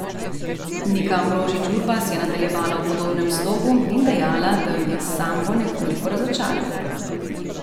Nika Ambrožič Urbas je nadaljevala v podobnem slogu in dejala, da jo je s sambo nekoliko razočaral.